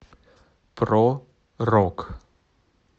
про рок